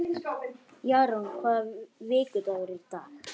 Jarún, hvaða vikudagur er í dag?